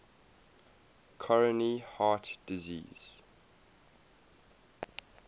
coronary heart disease